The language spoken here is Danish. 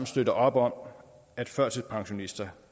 støtter op om at førtidspensionister